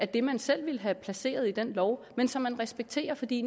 det man selv ville have placeret i den lov men som man respekterer fordi